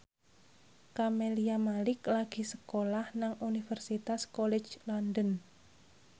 Camelia Malik lagi sekolah nang Universitas College London